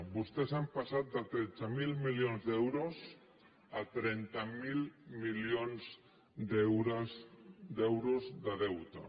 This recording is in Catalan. vostès han passat de tretze mil milions d’euros a trenta miler milions d’euros de deute